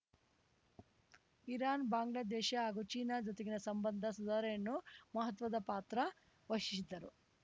Iran Bangladesh ಹಾಗೂ China ಜೊತೆಗಿನ ಸಂಬಂಧ ಸುಧಾರಣೆಯನ್ನೂ ಮಹತ್ವದ ಪಾತ್ರ ವಶಿದ್ದರು